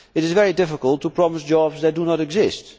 It is very difficult to promise jobs that do not exist.